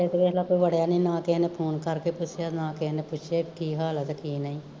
ਤੇ ਕੋਈ ਦੇਖਲਾ ਵੜਿਆ ਨੀ, ਨਾ ਕਿਸੇ ਨੇ ਫੋਨ ਕਰਕੇ ਪੁੱਛਿਆ ਨਾ ਕਿਸੇ ਪੁੱਛਿਆ ਕੀ ਹਾਲ ਆ ਤੇ ਕੀ ਨਈਂ